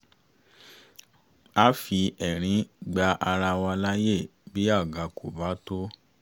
a fi ẹ̀rín gba ara wa laye bí àga kò bá tó